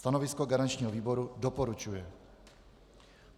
Stanovisko garančního výboru: doporučuje.